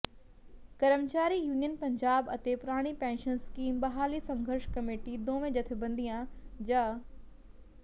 ਕਰਮਚਾਰੀ ਯੂਨੀਅਨ ਪੰਜਾਬ ਅਤੇ ਪੁਰਾਣੀ ਪੈਨਸ਼ਨ ਸਕੀਮ ਬਹਾਲੀ ਸੰਘਰਸ਼ ਕਮੇਟੀ ਦੋਵੇਂ ਜਥੇਬੰਦੀਆਂ ਜ